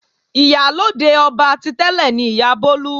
Ìyálóde ọba ti tẹ́lẹ̀ ni Ìyá Bólú.